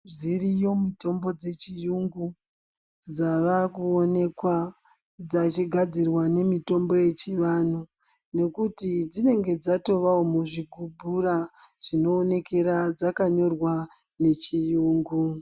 Zviriyo mitombo dzechiyungu dzavakuwonekwa dziyigadzirwa ngemitombo yechivanhu ngekuti dzinenge dzatovawo muzvigubhura zvinowonekera dzakanyorwa nechirungu.